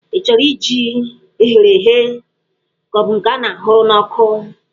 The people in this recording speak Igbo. Ị chọrọ jí eghere eghe ka ọ bụ nke a hụrụ n'ọkụ?